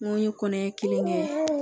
N ko n ye kɔnɔɲɛ kelen kɛ